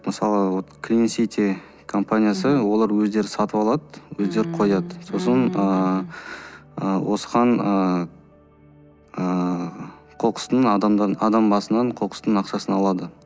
мысалы вот клинсити компаниясы олар өздері сатып алады өздері қояды сосын ыыы осыған ыыы қоқыстың адам басынан қоқыстың ақшасын алады